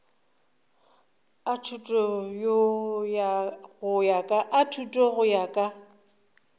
a thuto go ya ka